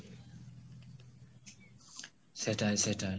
সেটা সেটা